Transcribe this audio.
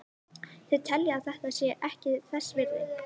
Þeir telja að þetta sé ekki þess virði.